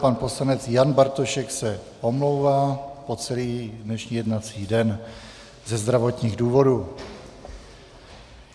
Pan poslanec Jan Bartošek se omlouvá po celý dnešní jednací den ze zdravotních důvodů.